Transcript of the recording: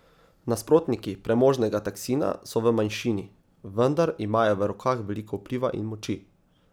Nasprotniki premožnega Taksina so v manjšini, vendar imajo v rokah veliko vpliva in moči.